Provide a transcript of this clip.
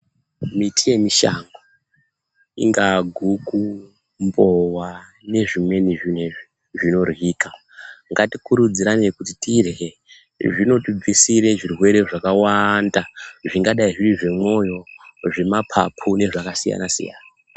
Miti yemushango, ingaa guku, mbowa, nezvimweni zvinezvi zvinoryika, ngatikurudzirane kuti tirye, zvinotibvisire zvirwere zvakawaanda, zvingadai zviri zvemwoyo, zvemaphaphu zvakasiyana-siyana.